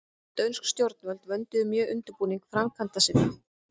Dönsk stjórnvöld vönduðu mjög undirbúning framkvæmda sinna.